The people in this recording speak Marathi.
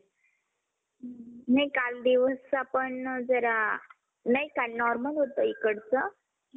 हम्म picture चे नाव सांग ना मला काय आहे?